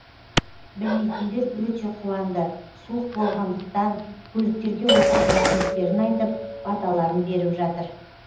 білмейтіндер өте қуанды суық болғандықтан көліктерге отырып рахметтерін айтып баталарын беріп жатыр